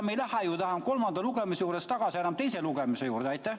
Me ei lähe ju kolmanda lugemise juurest enam tagasi teise lugemise juurde.